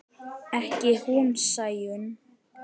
Ekki hún Sæunn.